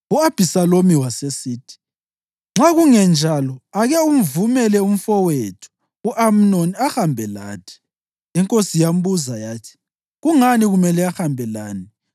U-Abhisalomu wasesithi, “Nxa kungenjalo, ake uvumele umfowethu u-Amnoni ahambe lathi.” Inkosi yambuza yathi, “Kungani kumele ahambe lani?”